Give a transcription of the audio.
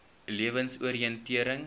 lewensoriëntering